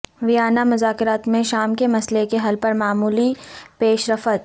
Vienna مذاکرات میں شام کے مسئلے کے حل پر معمولی پیش رفت